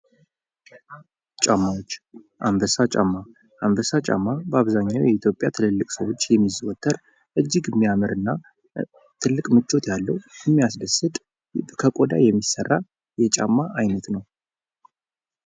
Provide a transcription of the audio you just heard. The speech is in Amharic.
ጫማዎች አንበሳ ጫማ በአብዛኛው የኢትዮጵያ ትልልቅ ሰዎች የሚዘወተር እጅግ የሚያምር እና ትልቅ ምቾት ያለው የሚያስደስት ከቆዳ የሚሠራው የጫማ ዓይነት ነው።